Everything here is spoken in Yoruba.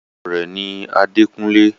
orúkọ rẹ̀ ni “ Adékúnlé”.